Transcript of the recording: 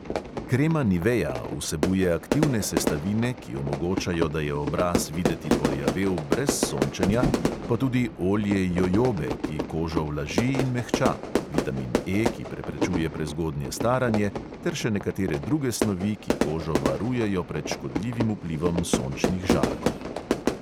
Krema nivea vsebuje aktivne sestavine, ki omogočajo, da je obraz videti porjavel brez sončenja, pa tudi olje jojobe, ki kožo vlaži in mehča, vitamin E, ki preprečuje prezgodnje staranje, ter še nekatere druge snovi, ki kožo varujejo pred škodljivim vplivom sončnih žarkov.